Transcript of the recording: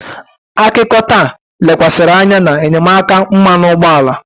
Akụkọ taa lekwasịrị anya na enyemaka mmanụ ụgbọala.